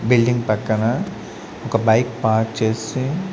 Building పక్కన ఒక bike park చేసి.